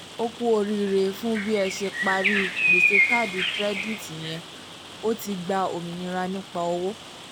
"o kú oríire fún bí ẹ ṣe parí gbèsè káàdì kirẹditi yẹn o ti gba òmìnira nípa owó”